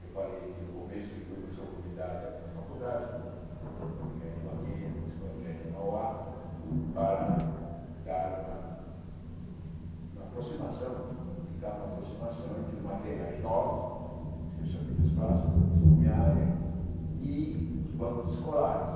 Eu falei aqui no começo que fui professor convidado em algumas faculdades, como Escola de Engenharia Mackenzie, Escola de Engenharia Mauá, para dar uma uma aproximação, indicar uma aproximação entre materiais novos, especialmente os plásticos, que são a minha área, e os bancos escolares.